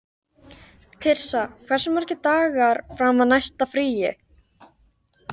Tirsa, hversu margir dagar fram að næsta fríi?